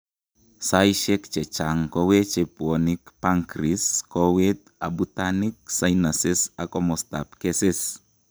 Saaisiek chechang' koweche bwonik, pancrese, kowet, abutanik, sinuses ak komostab keses